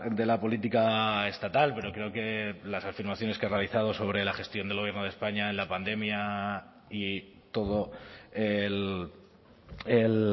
de la política estatal pero creo que las afirmaciones que ha realizado sobre la gestión del gobierno de españa en la pandemia y todo el